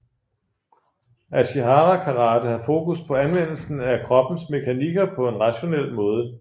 Ashihara karate har fokus på anvendelsen af kroppens mekanikker på en rationel måde